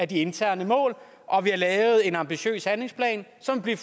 de interne mål og vi har lavet en ambitiøs handlingsplan som vil